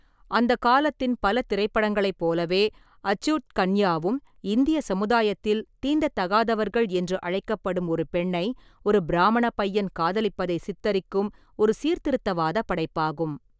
அந்த காலத்தின் பல திரைப்படங்களைப் போலவே, அச்சூட் கன்யாவும் இந்திய சமுதாயத்தில் தீண்டத்தகாதவர்கள் என்று அழைக்கப்படும் ஒரு பெண்ணை ஒரு பிராமண பையன் காதலிப்பதை சித்தரிக்கும், ஒரு சீர்திருத்தவாத படைப்பாகும்.